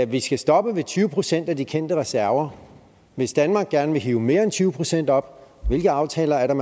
vi skal stoppe ved tyve procent af de kendte reserver hvis danmark gerne vil hive mere end tyve procent op hvilke aftaler er der